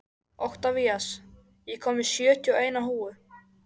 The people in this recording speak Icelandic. Oktavías, ég kom með sjötíu og eina húfur!